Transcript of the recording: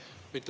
Aitäh!